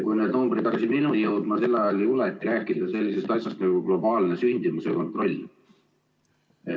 Kui need numbrid hakkasid minuni jõudma, siis sel ajal ei juletud rääkida sellisest asjast nagu globaalne sündimuse kontroll.